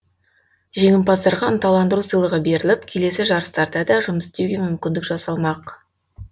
жеңімпаздарға ынталандыру сыйлығы беріліп келесі жарыстарда да жұмыс істеуге мүмкіндік жасалмақ